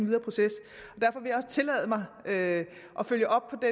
videre proces og jeg også tillade mig at følge op